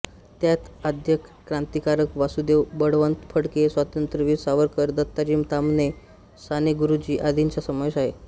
त्यात आद्य क्रांतिकारक वासुदेव बळवंत फडके स्वातंत्र्यवीर सावरकर दत्ताजी ताम्हणे साने गुरुजी आदींचा समावेश आहे